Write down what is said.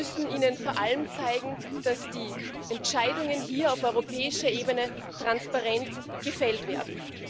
Wir müssen ihnen vor allem zeigen, dass die Entscheidungen hier auf europäischer Ebene transparent gefällt werden.